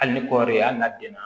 Hali ni kɔɔri ye hali n'a den na